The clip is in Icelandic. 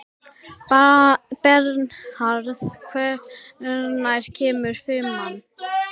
Bernharð, hvenær kemur fimman?